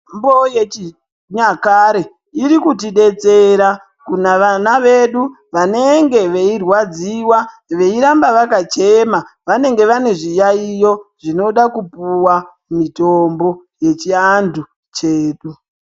Mitombo yechinyakare iri kuti detsera kuvana vedu vanenge veirwadziwa veiramba vakachema vanenge vane zviyaiyo zvinoda kupuwa mutombo wechiandu chedu.